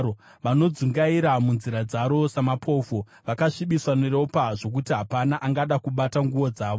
Vanodzungaira munzira dzaro savarume mapofu. Vakasvibiswa neropa zvokuti hapana angada kubata nguo dzavo.